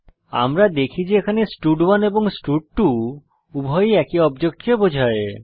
আমরা দেখি যে এখানে স্টাড1 এবং স্টাড2 উভয়ই এক অবজেক্টকে বোঝায়